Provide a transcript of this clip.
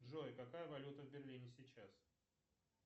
джой какая валюта в берлине сейчас